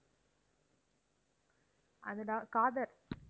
அது da~ காதர்.